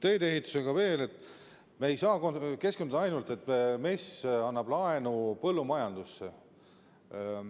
Teedeehituse kohta veel: me ei saa keskenduda ainult sellele, et MES annab laenu põllumajandusele.